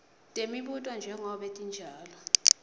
temibuto njengobe tinjalo